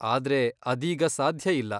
ಆದ್ರೆ ಅದೀಗ ಸಾಧ್ಯ ಇಲ್ಲ.